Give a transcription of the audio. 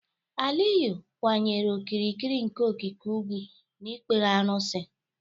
Aliyu kwanyere okirikiri nke okike ugwu na ikpere arụsị.